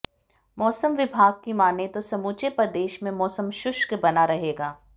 मौसम विभाग की मानें तो समूचे प्रदेश में मौसम शुष्क बना रहेगा